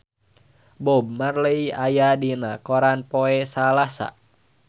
Bob Marley aya dina koran poe Salasa